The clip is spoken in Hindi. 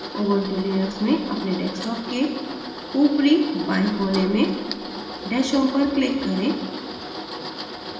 ubuntu linux में अपने desktop के top left corner में dash home पर click करें